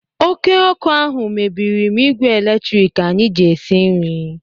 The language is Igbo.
Oké ọ́kụ́ ahụ mebiri m ígwè eletrik anyị ji esi nri.